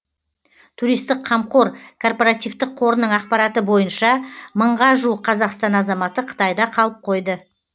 туристік қамқор корпоративтік қорының ақпараты бойынша мыңға жуық қазақстан азаматы қытайда қалып қойды